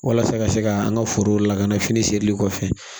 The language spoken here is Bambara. Walasa ka se ka an ka forow lakana fini serili kɔfɛ